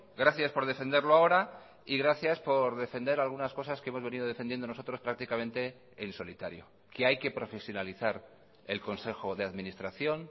gracias por defenderlo ahora y gracias por defender algunas cosas que hemos venido defendiendo nosotros prácticamente en solitario que hay que profesionalizar el consejo de administración